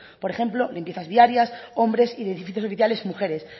por ejemplo limpiezas viarias hombres y de edificios oficiales mujeres